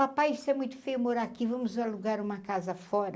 Papai, isso é muito feio morar aqui, vamos alugar uma casa fora.